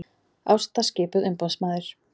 Ásta skipuð umboðsmaður